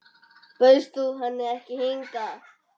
Bauðst þú henni ekki hingað?